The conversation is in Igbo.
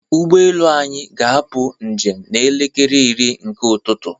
ụgbọelu anyị ga-apụ njem n'elekere iri nke ụtụtụ.